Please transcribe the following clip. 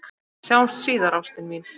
Sjáumst síðar, ástin mín.